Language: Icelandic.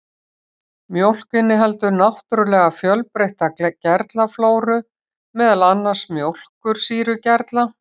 Mjólk inniheldur náttúrulega fjölbreytta gerlaflóru, meðal annars mjólkursýrugerla.